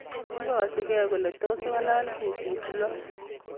ikasigei kole tos ngalal kutit loo